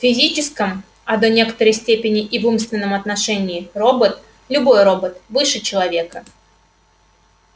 в физическом а до некоторой степени и в умственном отношении робот любой робот выше человека